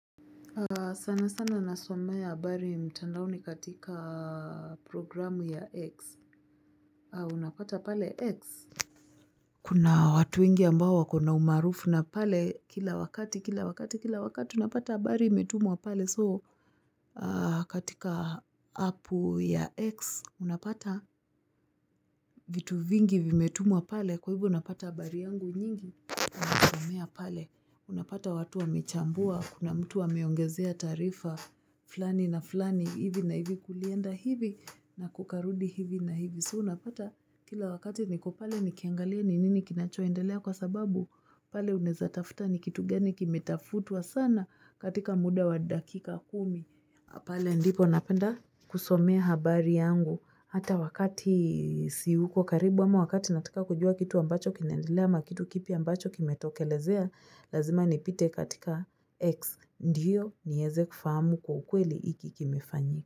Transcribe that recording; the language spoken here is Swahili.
Sana sana nasomea habari mtandaoni katika programu ya X. Unapata pale X kuna watu wengi ambao wako na umaarufu na pale kila wakati, kila wakati, kila wakati unapata habari metumwa pale so, katika apu ya X. Unapata vitu vingi vimetumwa pale kwa hivyo napata habari yangu nyingi. Unasomea pale. Unapata watu wamechambua, kuna mtu ameongezea taarifa fullani na fulani hivi na hivi, kulienda hivi na kukarudi hivi na hivi. So unapata kila wakati niko pale nikiangalia ni nini kinachoaendelea kwa sababu pale unaeza tafuta ni kitu gani kimetafutwa sana katika muda wa dakika kumi pale ndipo napenda kusomea habari yangu hata wakati siuko karibu ama wakati natika kujua kitu ambacho kinaendelea ama kitu kipya ambacho kimetokelezea lazima nipite katika X ndiyo nieze kufahamu kwa ukweli hiki kimefanyika.